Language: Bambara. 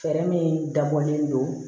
Fɛɛrɛ min dabɔlen don